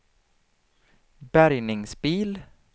bärgningsbil